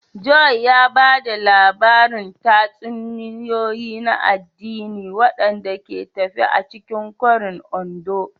Joy ya ba da labarin tatsuniyoyi na addini waɗanda ke tafe a cikin kwarin Ondo.